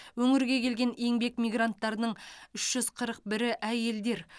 өңірге келген еңбек мигранттарының үш жүз қырық бірі әйелдер